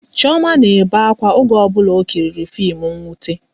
Chioma na-ebe akwa oge ọ bụla ọ kiriri fim nwute